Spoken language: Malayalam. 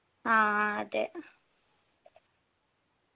ആ അതേ